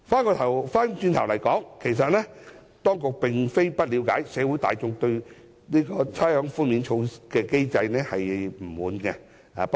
話說回來，當局並非不了解社會大眾對差餉寬免機制的不滿。